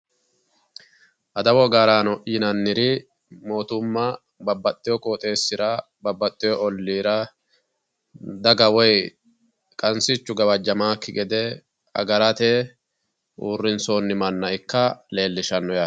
Adawu agaraano yinanniri mootumma babbaxxeyo qooxeessira babbaxxeyo olliira daga woyi qansichu gawajjamannokki gede agarate uurrinsoonni manna ikka leellishshanno yaate